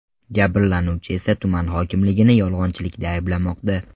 Jabrlanuvchi esa tuman hokimligini yolg‘onchilikda ayblamoqda.